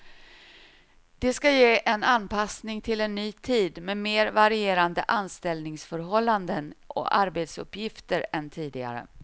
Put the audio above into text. Det ska ge en anpassning till en ny tid med mer varierande anställningsförhållanden och arbetsuppgifter än tidigare.